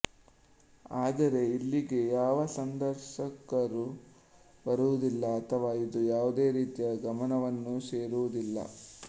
ಆದರೆ ಇಲ್ಲಿಗೆ ಯಾವ ಸಂದರ್ಶಕರೂ ಬರುವುದಿಲ್ಲ ಅಥವಾ ಇದು ಯಾವುದೇ ರೀತಿಯ ಗಮನವನ್ನೂ ಸೆಳೆಯುವುದಿಲ್ಲ